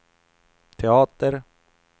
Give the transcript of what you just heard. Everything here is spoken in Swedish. teater